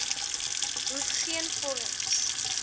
hoef geen vorms